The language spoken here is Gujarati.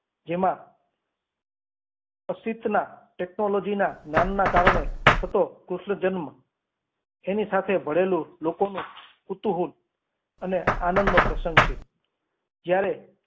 જેમાં અસીતના technology ના જ્ઞાનના કારણે થતો કૃષ્ણ જન્મ એની સાથે ભળેલું શ્લોકોનું કુતુહલ અને આનંદનો પ્રસંગ છે જ્યારે